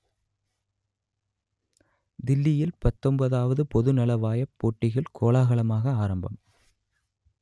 தில்லியில் பத்தொன்பதுவது பொதுநலவாயப் போட்டிகள் கோலாகலமாக ஆரம்பம்